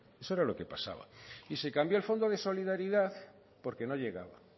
eso era lo que pasaba y se cambió el fondo de solidaridad porque no llegaba